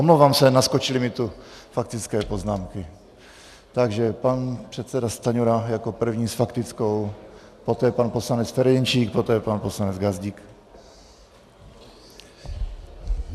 Omlouvám se, naskočily mi tu faktické poznámky, takže pan předseda Stanjura jako první s faktickou, poté pan poslanec Ferjenčík, poté pan poslanec Gazdík.